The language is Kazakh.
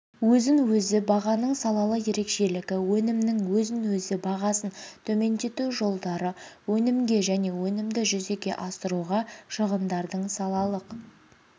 өзін-өзі бағаның салалы ерекшелігі өнімнің өзін-өзі бағасын төмендету жолдары өнімге және өнімді жүзеге асыруға шығындардың салалық